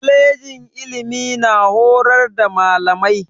Kwalejin ilimi na horar da malamai.